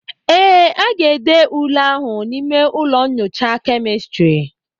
ee, aga-ede ule ahụ n'ime ụlọ nyocha kemịstri